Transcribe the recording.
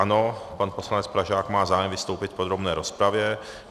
Ano, pan poslanec Pražák má zájem vystoupit v podrobné rozpravě.